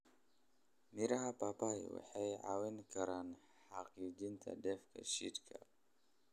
Miraha papai waxay caawin karaan hagaajinta dheef-shiid kiimika.